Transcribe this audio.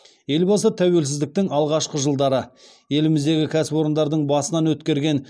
елбасы тәуелсіздіктің алғашқы жылдары еліміздегі кәсіпорындардың басынан өткерген